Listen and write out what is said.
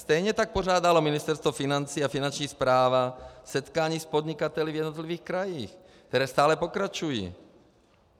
Stejně tak pořádalo Ministerstvo financí a finanční správa setkání s podnikateli v jednotlivých krajích, která stále pokračují.